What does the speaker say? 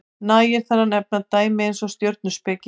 nægir þar að nefna dæmi eins og stjörnuspeki